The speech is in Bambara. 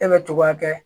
E bɛ togoya kɛ